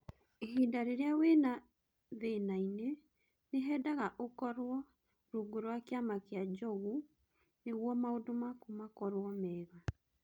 Ihinda rĩrĩa wĩna thinainĩ, nĩ hendaga ũkoro rungu rwa kĩama kia Njogu nĩguo maũndũ maku makoro mega.